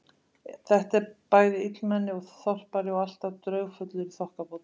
Þetta er bæði illmenni og þorpari og alltaf draugfullur í þokkabót.